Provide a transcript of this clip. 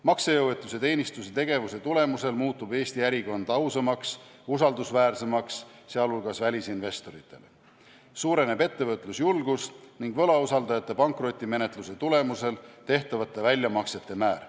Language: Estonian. Maksejõuetuse teenistuse tegevuse tulemusel muutub Eesti ärikeskkond ausamaks, usaldusväärsemaks, sh välisinvestoritele, samuti suureneb ettevõtlusjulgus ja võlausaldajate pankrotimenetluse tulemusel tehtavate väljamaksete määr.